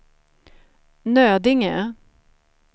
Nödinge